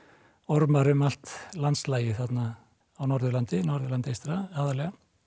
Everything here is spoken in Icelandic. ormar um allt landslagið þarna á Norðurlandi Norðurlandi eystra aðallega